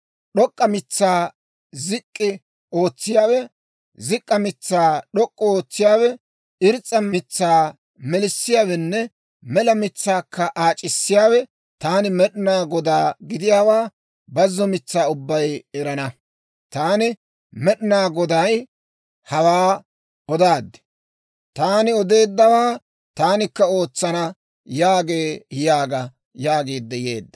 D'ok'k'a mitsaa zik'k'i ootsiyaawe, zik'k'a mitsaa d'ok'k'u ootsiyaawe, irs's'a mitsaa melissiyaawenne mela mitsaakka aac'issiyaawe, taani Med'inaa Godaa gidiyaawaa bazzo mitsaa ubbay erana. Taani Med'inaa Goday hawaa odaad; taani odeeddawaa taanikka ootsana» yaagee› yaaga» yaagiidde yeedda.